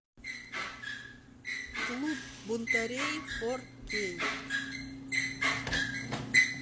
клуб бунтарей фор кей